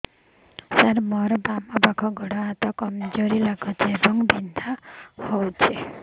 ସାର ମୋର ବାମ ପାଖ ଗୋଡ ହାତ କମଜୁର ଲାଗୁଛି ଏବଂ ବିନ୍ଧା କରୁଛି